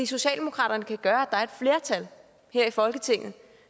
socialdemokraterne kan gøre at flertal her i folketinget